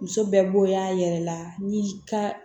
Muso bɛɛ bonya yɛrɛ la ni ka